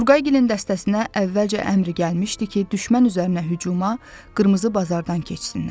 Turqaygilin dəstəsinə əvvəlcə əmr gəlmişdi ki, düşmən üzərinə hücuma Qırmızı Bazardan keçsinlər.